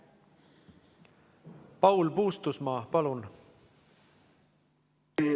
Paul Puustusmaa, palun!